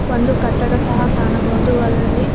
ಒಂದು ಕಟ್ಟಡ ಸಹ ಕಾಣಬಹುದು ಅದರಲ್ಲಿ--